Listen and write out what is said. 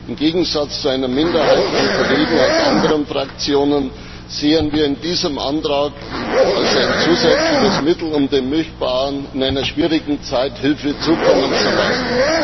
Im Gegensatz zu einer Minderheit von Kollegen aus anderen Fraktionen sehen wir in diesem Antrag ein zusätzliches Mittel, um den Milchbauern in einer schwierigen Zeit Hilfe zukommen zu lassen.